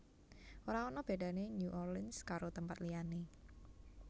Ora ana bedane New Orleans karo tempat liyane